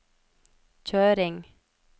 kjøring